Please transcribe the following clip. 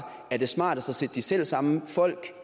er det smartest at sætte de selv samme folk